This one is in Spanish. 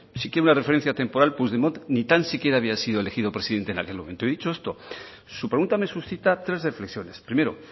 si quiere una referencia temporal puigdemont ni tan siquiera había sido elegido presidente en aquel momento y dicho esto su pregunta me suscita tres reflexiones primero